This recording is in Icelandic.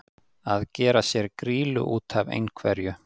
Að gera sér grýlu út af einhverju